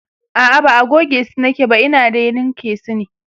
a'a ba gogesu nake ba Ina dai linka su ne